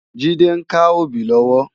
Jide n ká óbì lòwò